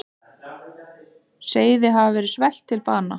Seiði hafa verið svelt til bana.